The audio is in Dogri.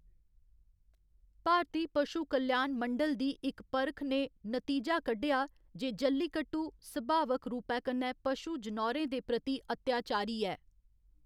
भारती पशु कल्याण मंडल दी इक परख ने नतीजा कड्ढेआ जे जल्लीकट्टू सभावक रूपै कन्ने पशु जनौरें दे प्रति अत्याचारी ऐ।